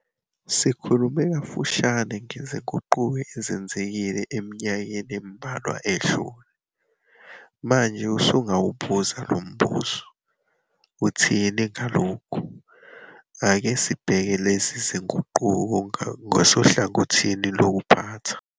Sikhulume kafushane ngezinguquko ezenzekile eminyakeni embalwa edlule. Manje usungawubuza lo mbuzo "Uthini ngalokhu?". Ake sibheke lezi zinguquko ngasohlangothini lokuphatha.